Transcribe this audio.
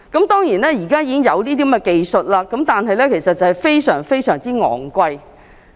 當然，現在已經有這個技術，但費用非常昂貴。